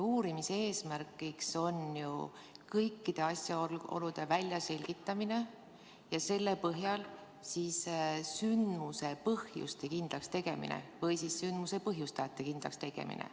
Uurimise eesmärk on ju kõikide asjaolude väljaselgitamine ja selle põhjal sündmuse põhjuste kindlakstegemine või sündmuse põhjustajate kindlakstegemine.